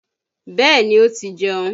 Bẹ́ẹ̀ni ó ti jeun